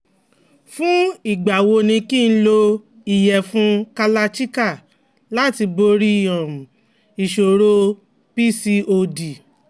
Fún ìgbà wo ni kí n lo iyefun kalachikai láti borí um ìṣòro PCOD?